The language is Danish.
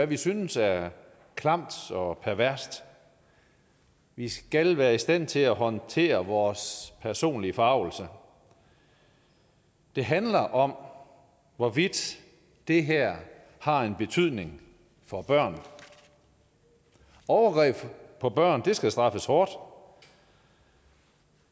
vi synes er klamt og perverst vi skal være i stand til at håndtere vores personlige forargelse det handler om hvorvidt det her har en betydning for børn overgreb mod børn skal straffes hårdt